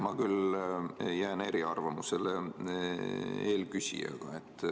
Ma küll jään eri arvamusele eelküsijaga.